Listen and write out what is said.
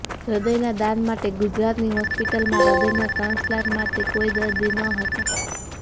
હૃદયના દાન માટે ગુજરાતની હોસ્પિટલમાં હૃદયના ટ્રાન્સપ્લાન્ટ માટે કોઈ દર્દી ન હતા